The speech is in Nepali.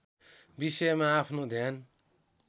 विषयमा आफ्नो ध्यान